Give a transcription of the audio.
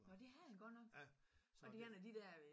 Nå det havde han godt nok? Var det en af de der øh